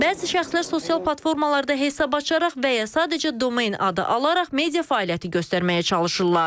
Bəzi şəxslər sosial platformalarda hesab açaraq və ya sadəcə domen adı alaraq media fəaliyyəti göstərməyə çalışırlar.